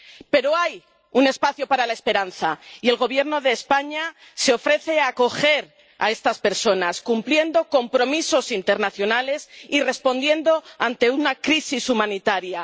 Pero hay un espacio para la esperanza, y el Gobierno de España se ofrece a acoger a estas personas, cumpliendo compromisos internacionales y respondiendo ante una crisis humanitaria.